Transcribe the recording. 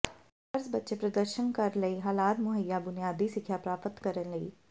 ਫਰਜ਼ ਬੱਚੇ ਪ੍ਰਦਰਸ਼ਨ ਕਰ ਲਈ ਹਾਲਾਤ ਮੁਹੱਈਆ ਬੁਨਿਆਦੀ ਸਿੱਖਿਆ ਪ੍ਰਾਪਤ ਕਰਨ ਲਈ